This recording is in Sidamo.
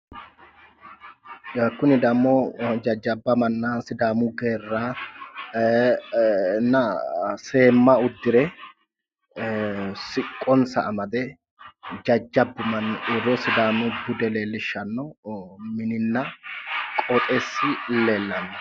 yawu kuni dammo jajjabba manna sidaamu geerranna seemma uddire siqqonsa jamade jajjabbu manni uure sidaamu bude leellishshanno mininna qoxeessi leellanno